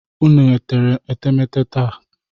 Unu tere etemete taa?